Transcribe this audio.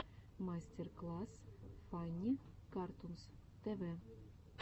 мастер класс фанни картунс тв